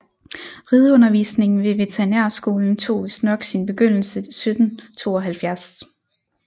Rideundervisningen ved Veterinærskolen tog vistnok sin begyndelse 1772